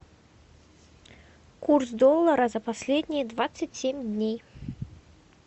курс доллара за последние двадцать семь дней